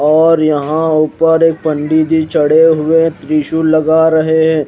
और यहां ऊपर एक पंडित जी चढ़े हुए त्रिशूल लगा रहे हैं।